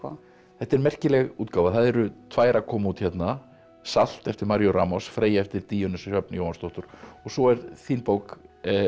þetta er merkileg útgáfa það eru tvær að koma út hérna salt eftir Maríu Freyja eftir Díönu Sjöfn Jóhannsdóttur og svo er þín bók